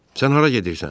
Sən hara gedirsən?